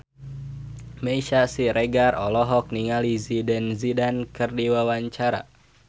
Meisya Siregar olohok ningali Zidane Zidane keur diwawancara